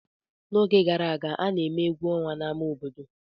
N'oge gara aga, a na-eme egwu ọnwa n'ámá obodo.